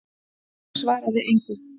Ég svaraði engu.